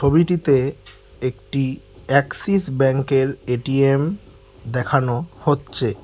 ঘড়িটিতে একটি অ্যাক্সিস ব্যাংকের এ_টি_এম দেখানো হচ্ছে।